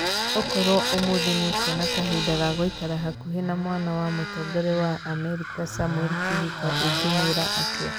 Okorwo ũmũthĩ nĩokuona kahinda ga gũikara hakuhĩ na mwana wa Mũtongoria wa Amerika samuel kihika ũngĩmwĩra atĩa?